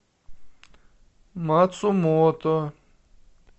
мацумото